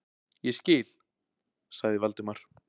Ég skil- sagði Valdimar.